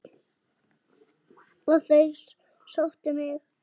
Og þeir sóttu mig.